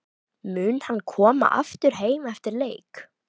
Mun hann koma aftur heim eftir leik?